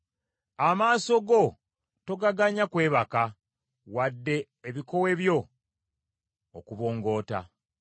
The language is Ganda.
Amaaso go togaganya kwebaka, wadde ebikowe byo okubongoota.